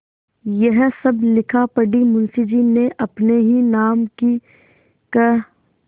यह सब लिखापढ़ी मुंशीजी ने अपने ही नाम की क्